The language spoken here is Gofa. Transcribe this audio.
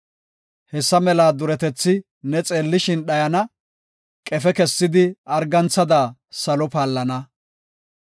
Hessa mela duretethi ne xeellishin dhayana; qefe kessidi arganthada salo paallana.